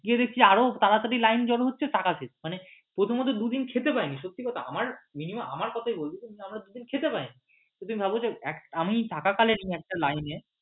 গিয়ে দেখছি আরও তাড়াতাড়ি line জড়ো হচ্ছে টাকা শেষ মানে প্রথমত দুদিন খেতে পাইনি আমি সত্যি কথা আমার কথাই বলছি আমরা দুদিন খেতে পাইনি আমি থাকাকালীন একটা line এ